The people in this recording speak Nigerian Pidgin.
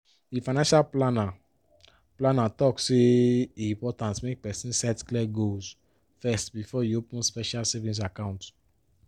di financial planner planner talk say e important make person set clear goals first before e open special savings account